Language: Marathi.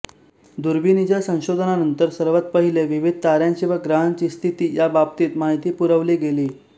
दूरबिणीच्या संशोधनानंतर सर्वांत पहिलें विविध तार्यांची व ग्रहांची स्थिती या बाबतींत माहिती पुरवली गेली